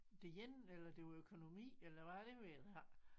Det ene eller det var økonomi eller hvad det ved jeg ikke